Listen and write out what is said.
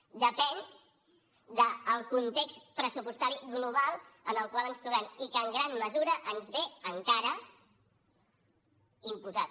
depèn del context pressupostari global en el qual ens trobem i que en gran mesura ens ve encara imposat